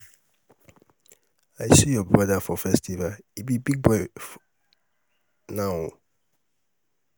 i see your brother for festival he be big boy now o